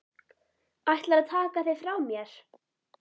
Ætlarðu að taka þig frá mér?